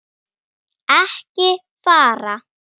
Ekki fara.